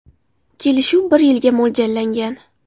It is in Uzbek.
Kelishuv bir yilga mo‘ljallangan.